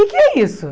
O que que é isso?